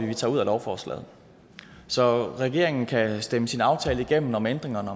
vi tager ud af lovforslaget så regeringen kan stemme sin aftale igennem om ændringerne